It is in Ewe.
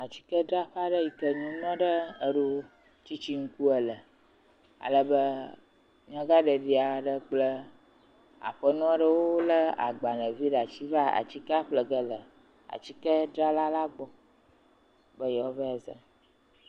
Atikedraƒe yike nyɔnu aɖe eɖo tsitsiŋku ele. Ale be nyagaɖeɖi aɖe kple aƒenɔ aɖewo le agbalevi ɖe asi va atikea ƒlege le atikedrala la gbɔ be yewoavae zã.